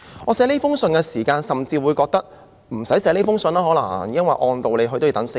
我撰寫這封信的時候，甚至覺得可能無須這樣做，因為按道理是須等候4天的。